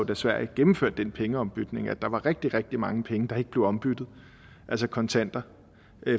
da sverige gennemførte den pengeombytning at der var rigtig rigtig mange penge der ikke blev ombyttet altså kontanter